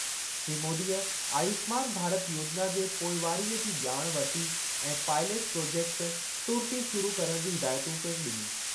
श्री मोदीअ आयुष्मान भारत योजिना जे पोईवारीअ जी ॼाण वरिती ऐं पायलेट प्रोजेक्टु तुर्त ई शुरु करणु जूं हिदायतूं पिण ॾिनियूं।